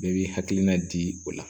Bɛɛ b'i hakilina di o la